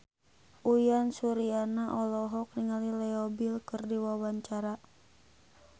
Uyan Suryana olohok ningali Leo Bill keur diwawancara